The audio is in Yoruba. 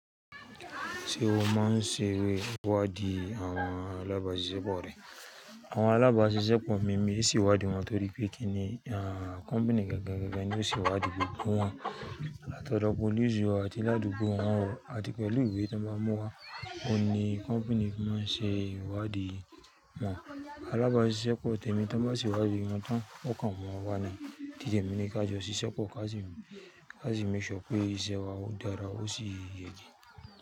Ṣé o máa ń ṣeré wádìí àwọn alábàáṣiṣẹ́ pọ̀ rẹ? Àwọn alábàáṣiṣẹ́ pọ̀ mi, mi sì ìwádìí wọn torí pé kí ni à kọ́mpìnì gangan ní ó sì ìwádìí gbogbo wọn. Láti ọ̀dọ̀ pólìsì o àti ládùúgbò wọn o àti pẹ̀lú ìwé tí wọ́n bá mú wá, ọ̀ ní kọ́mpìnì fi máa ń ṣe ìwádìí wọn. Alábàáṣiṣẹ́ pọ̀ tèmi tí bá sì ìwádìí wọn tán, ó kàn wọ́n wá ni Tí tèmi ní ká jọ ṣiṣẹ́ pọ̀ ká sì, ká sì mẹ́ṣọ pé iṣẹ́ wa ó dára ó sì yege.